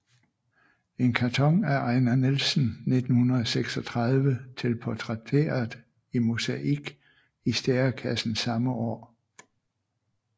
En karton af Ejnar Nielsen 1936 til portrætteret i mosaik i Stærekassen samme år